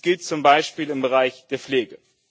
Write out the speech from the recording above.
Dies gilt zum Beispiel im Bereich der Pflege.